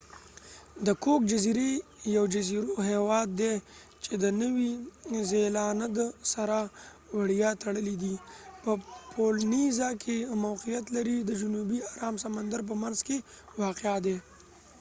د کوک جزیری یو جزیروي هیواد دي چې د نوي زیلاند سره وړیا تړلی دي په پولینیزا کې موقعیت لري د جنوبی ارام سمندر په منځ کې واقع دي